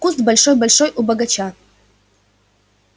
куст большой-большой у бочага